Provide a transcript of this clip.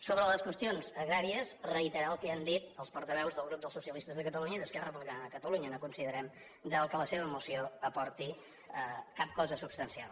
sobre les qüestions agràries reiterar el que ja han dit els portaveus dels grups de socialistes de catalunya i d’esquerra republicana de catalunya no considerem que la seva moció aporti cap cosa substancial